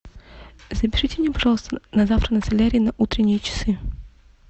запишите меня пожалуйста на завтра на солярий на утренние часы